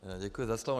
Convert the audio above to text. Děkuju za slovo.